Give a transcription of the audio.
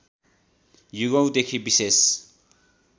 युगौँदेखि विशेष